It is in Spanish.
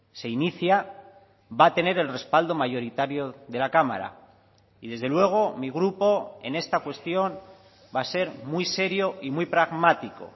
se inicia va a tener el respaldo mayoritario de la cámara y desde luego mi grupo en esta cuestión va a ser muy serio y muy pragmático